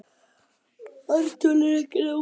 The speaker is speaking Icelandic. Ártöl eru ekki nákvæm.